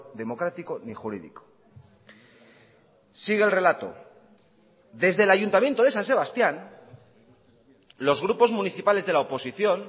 democrático ni jurídico sigue el relato desde el ayuntamiento de san sebastián los grupos municipales de la oposición